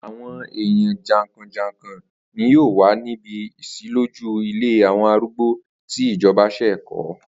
Àwo̩n èèyàn jàǹkò̩jàǹkò̩ ni yóò wà níbi ìs̩ílójú ilé àwo̩n arúgbó tí ìjo̩ba s̩è̩ kó̩